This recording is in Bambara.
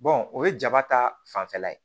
o ye jaba ta fanfɛla ye